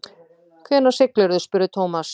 Hvenær siglirðu? spurði Thomas.